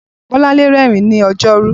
Bolanle rẹ́rìn-ín lọ́jọ́rú